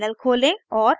terminal खोलें और type करें